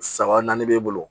Saba naani b'e bolo